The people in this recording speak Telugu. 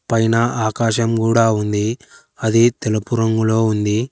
పైన ఆకాశం కూడా ఉంది అది తిలపు రంగులో ఉంది.